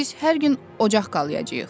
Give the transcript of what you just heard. Biz hər gün ocaq qalayacağıq.